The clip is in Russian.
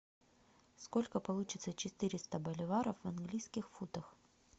сколько получится четыреста боливаров в английских фунтах